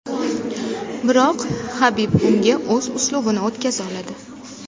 Biroq Habib unga o‘z uslubini o‘tkaza oladi.